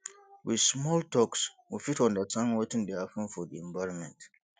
with small talks we fit understand wetin de happen for the environment